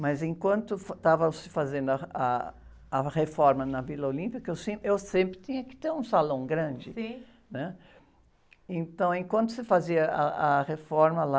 Mas enquanto estava se fazendo ah, ah, a reforma na Vila Olímpia, que eu sempre, eu sempre tinha que ter um salão grande, né?im.ntão enquanto se fazia ah, a reforma lá,